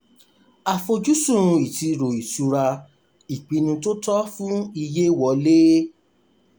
àfojúsùn iṣiro ìṣura: ipinnu tó tọ́ fún iye wọlé.